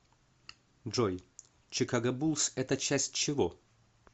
джой чикаго буллс это часть чего